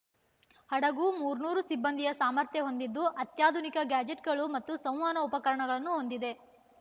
ಹಡಗು ಮೂರ್ ನೂರು ಸಿಬ್ಬಂದಿಯ ಸಾಮರ್ಥ್ಯ ಹೊಂದಿದ್ದು ಅತ್ಯಾಧುನಿಕ ಗ್ಯಾಜೆಟ್‌ಗಳು ಮತ್ತು ಸಂವಹನ ಉಪಕರಣಗಳನ್ನು ಹೊಂದಿದೆ